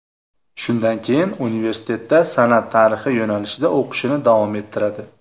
Shundan keyin universitetda san’at tarixi yo‘nalishida o‘qishini davom ettiradi.